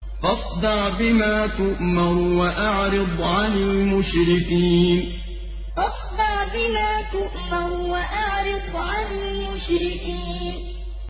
فَاصْدَعْ بِمَا تُؤْمَرُ وَأَعْرِضْ عَنِ الْمُشْرِكِينَ فَاصْدَعْ بِمَا تُؤْمَرُ وَأَعْرِضْ عَنِ الْمُشْرِكِينَ